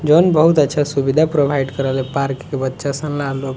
John बहुत अच्छा सुविधा प्रोवाइड करेला पार्क के बच्चा सन --